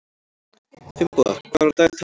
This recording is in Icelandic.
Finnboga, hvað er á dagatalinu mínu í dag?